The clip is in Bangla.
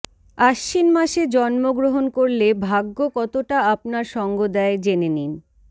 আশ্বিনমাসে জন্ম গ্রহণ করলে ভাগ্য কতটা আপনার সঙ্গ দেয় জেনে নিন